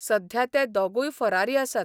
सध्या ते दोगूय फरारी आसात.